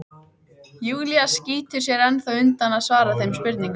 Júlía skýtur sér ennþá undan að svara þeim spurningum.